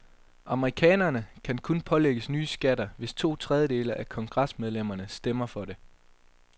Amerikanerne kan kun pålægges nye skatter, hvis to tredjedele af kongresmedlemmerne stemmer for det.